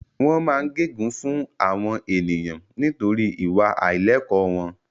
Wọ́n máa ń gẹ gun fún àwọn ènìyàn nítorí ìwà àìlẹ̀kọ́ wọn